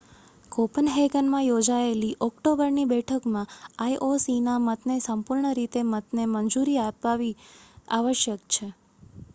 કોપનહેગનમાં યોજાયેલી ઓક્ટોબરની બેઠકમાં આઈ ઓ સી ના મતને સંપૂર્ણ રીતે મતને મંજૂરી આપવી આવશ્યક છે